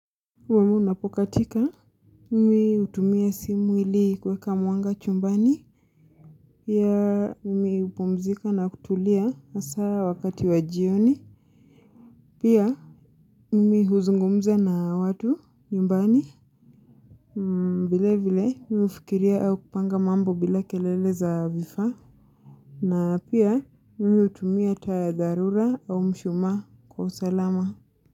Mwanga unapokatika. Mimi hutumia simu ili kuweka mwanga chumbani. Pia mimi hupumzika na kutulia hasa wakati wa jioni. Pia mimi huzungumza na watu nyumbani. Vile vile mimi hufikiria au kupanga mambo bila kelele za vifaa. Na pia mimi hutumia taa ya dharura au mshumaa kwa usalama.